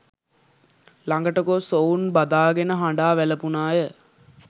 ළඟට ගොස් ඔවුන් බදාගෙන හඬා වැළපුණාය